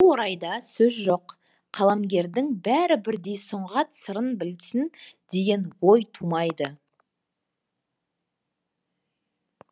бұл орайда сөз жоқ қаламгердің бәрі бірдей сұңғат сырын білсін деген ой тумайды